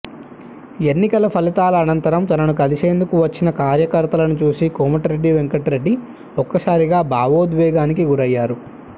ఎన్నికల ఫలితాల అనంతరం తనను కలిసేందుకు వచ్చిన కార్యకర్తలను చూసి కోమటిరెడ్డి వెంకటరెడ్డి ఒక్కసారిగా భావోద్వేగానికి గురయ్యారు